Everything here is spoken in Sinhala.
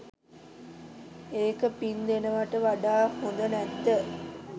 ඒක පිං දෙනවට වඩා හොඳ නැද්ද?